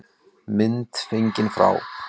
Mynd fengin frá